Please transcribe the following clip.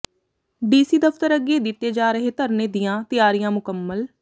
DC ਦਫ਼ਤਰ ਅੱਗੇ ਦਿੱਤੇ ਜਾ ਰਹੇ ਧਰਨੇ ਦੀਆਂ ਤਿਆਰੀਆਂ ਮੁਕੰਮਲ